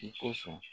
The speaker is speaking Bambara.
I kosɔn